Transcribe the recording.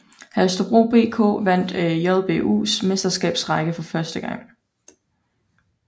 Holstebro BK vandt JBUs Mesterskabsrække for første gang